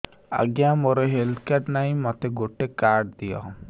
ଆଜ୍ଞା ମୋର health card ନାହିଁ ମୋତେ ଗୋଟେ କାର୍ଡ ଦିଅ